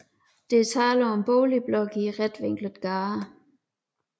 Der var tale om boligblokke i retvinklede gader